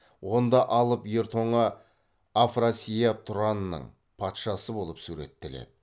онда алып ер тоңа афрасияп тұранның патшасы болып суреттеледі